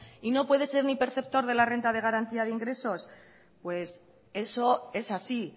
y no puede ser ni perceptor de la renta de garantía de ingresos eso es así